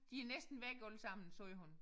De er næsten væk allesammen sagde hun